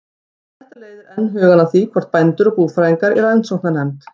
Þetta leiðir enn hugann að því, hvort bændur og búfræðingar í rannsóknarnefnd